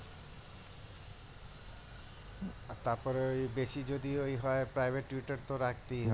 আর তারপরে ওই বেশি যদি ওই হয় তো রাখতেই হবে